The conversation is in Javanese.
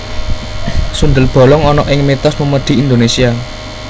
Sundel bolong ana ing mitos memedi Indonesia